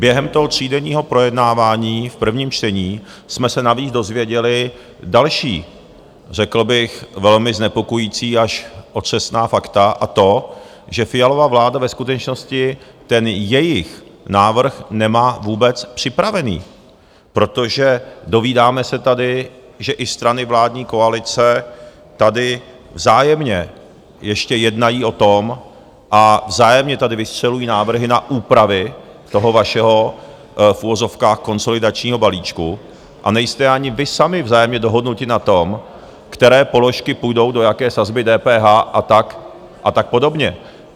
Během toho třídenního projednávání v prvním čtení jsme se navíc dozvěděli další, řekl bych, velmi znepokojující až otřesná fakta, a to, že Fialova vláda ve skutečnosti ten jejich návrh nemá vůbec připravený, protože dovídáme se tady, že i strany vládní koalice tady vzájemně ještě jednají o tom a vzájemně tady vystřelují návrhy na úpravy toho vašeho - v uvozovkách - konsolidačního balíčku a nejste ani vy sami vzájemně dohodnuti na tom, které položky půjdou do jaké sazby DPH a tak podobně.